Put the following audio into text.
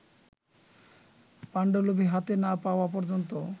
পাণ্ডুলিপি হাতে না-পাওয়া পর্যন্ত